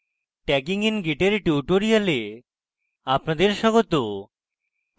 tagging in git এর spoken tutorial আপনাদের স্বাগত